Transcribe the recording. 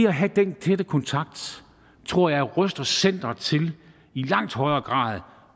at have den tætte kontakt tror jeg ruster centeret til i langt højere grad